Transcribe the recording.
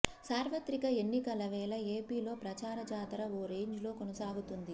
సార్వత్రిక ఎన్నికల వేళ ఏపీలో ప్రచార జాతర ఓ రేంజ్లో కొనసాగుతోంది